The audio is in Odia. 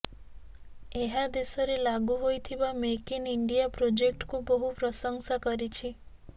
ଏହା ଦେଶରେ ଲାଗୁ ହୋଇଥିବା ମେକ୍ ଇନ୍ ଇଣ୍ଡିଆ ପ୍ରୋଜେକ୍ଟକୁ ବହୁ ପ୍ରଶଂସା କରିଛି